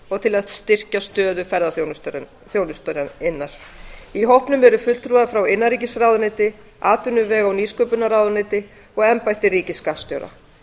og til að styrkja stöðu ferðaþjónustunnar í hópnum eru fulltrúar frá innanríkisráðuneyti atvinnuvega og nýsköpunarráðuneyti og embætti ríkisskattstjóra